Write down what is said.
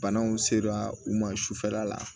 Banaw sera u ma sufɛla la